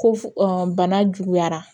Ko f bana juguyara